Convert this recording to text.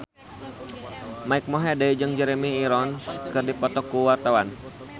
Mike Mohede jeung Jeremy Irons keur dipoto ku wartawan